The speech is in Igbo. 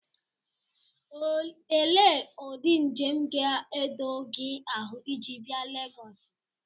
Ele ụdị njem ga-edo gị ahụ iji bịa Legosi?